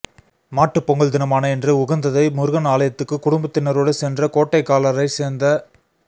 மாட்டுப்பொங்கல் தினமான இன்று உகந்ததை முருகன் ஆலயத்துக்கு குடும்பத்தினரோடு சென்ற கோட்டைக்கல்லாரைச்சேர்த்த